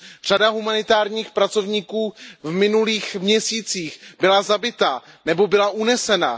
Řada humanitárních pracovníků v minulých měsících byla zabita nebo byla unesena.